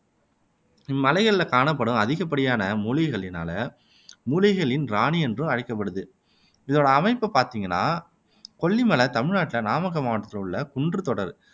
இம்மலைகளில் காணப்படும் அதிகப்படியான மூலிகைகளினால மூலிகைகளின் ராணி என்றும் அழைக்கப்படுகிறது இதன் அமைப்ப பார்த்தீங்கன்னா கொல்லி மலை தமிழ் நாட்டில நாமக்கல் மாவட்டத்தில உள்ள குன்றுத் தொடர்